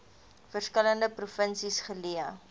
verskillende provinsies geleë